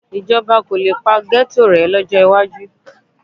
Ìjọba kò le pa ghetto rẹ̀ lọ́jọ́ iwájú